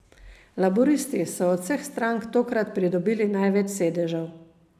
Laburisti so od vseh strank tokrat pridobili največ sedežev.